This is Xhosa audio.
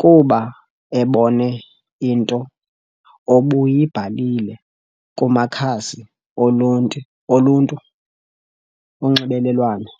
kuba ebone into obuyibhalile kumakhasi olunti oluntu onxibelelwano.